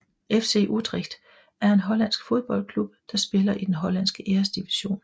FC Utrecht er en hollandsk fodboldklub der spiller i den hollandske Æresdivision